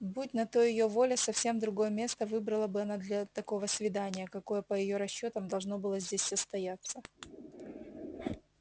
будь на то её воля совсем другое место выбрала бы она для такого свидания какое по её расчётам должно было здесь состояться